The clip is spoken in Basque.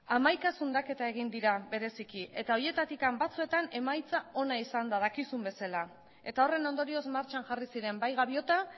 hamaika zundaketa egin dira bereziki eta horietatik batzuetan emaitza ona izan da dakizun bezala eta horren ondorioz martxan jarri ziren bai gaviota